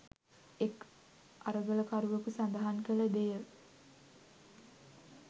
එක් අරගලකරුවකු සඳහන් කළ දෙය